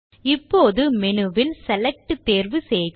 இப்போது மெனுவில் செலக்ட் தேர்வு செய்க